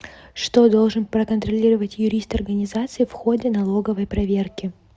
что должен проконтролировать юрист организации в ходе налоговой проверки